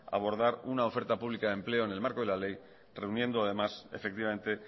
abordar una oferta pública de empleo en el marco de la ley reuniendo además efectivamente